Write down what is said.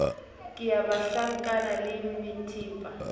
ke ya banhlankana le methepa